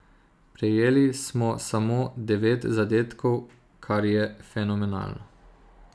Prejeli smo samo devet zadetkov, kar je fenomenalno.